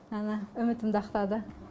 әні үмітімді ақтады